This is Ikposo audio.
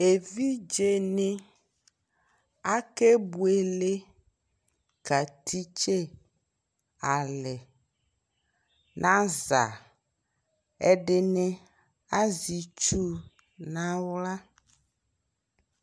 Sukuu evidze ni aya ku ɛvidze di ɛzu kuti kɔka du ɛku nu ti kɛ digbo azɛ ɛku fue na wla